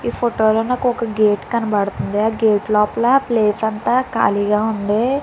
ఈ ఫోటోలో మనకి ఒక గేటు కనపడుతుంది ఆ గేటు లోపల ప్లేసు అంతా ఖాళీగా ఉంది.